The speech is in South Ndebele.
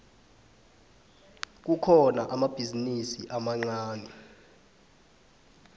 kukhona amabhizinisi amancani